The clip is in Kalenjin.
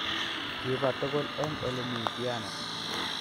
Kiba tugul eng ole mi piano